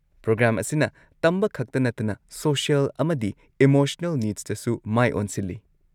Programme ꯑꯁꯤꯅ ꯇꯝꯕ ꯈꯛꯇ ꯅꯠꯇꯅ ꯁꯣꯁꯤꯑꯦꯜ ꯑꯃꯗꯤ ꯏꯃꯣꯁꯅꯦꯜ ꯅꯤꯗꯁꯇꯁꯨ ꯃꯥꯏ ꯑꯣꯟꯁꯤꯜꯂꯤ꯫